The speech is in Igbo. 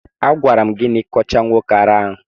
A gwara m gi na ị kọcha nwoke ara ahụ.